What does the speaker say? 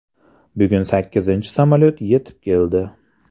Bugun sakkizinchi samolyot yetib keldi.